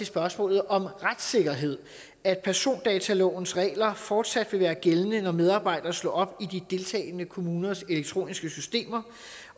spørgsmålet om retssikkerhed at persondatalovens regler fortsat vil være gældende når medarbejdere slår op i de deltagende kommuners elektroniske systemer